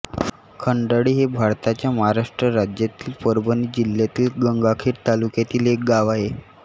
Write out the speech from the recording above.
खंडाळी हे भारताच्या महाराष्ट्र राज्यातील परभणी जिल्ह्यातील गंगाखेड तालुक्यातील एक गाव आहे